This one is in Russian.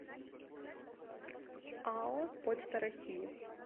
ао почта россии